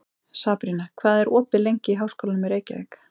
Sabrína, hvað er opið lengi í Háskólanum í Reykjavík?